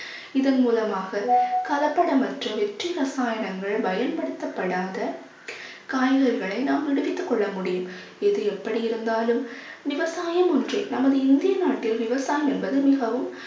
இதன் மூலமாக கலப்படமற்ற வெற்றி ரசாயனங்கள் பயன்படுத்தப்படாத காய்கறிகளை நாம் விளைவித்துக் கொள்ள முடியும். எது எப்படி இருந்தாலும் விவசாயம் ஒன்றே நமது இந்திய நாட்டில் விவசாயம் என்பது மிகவும்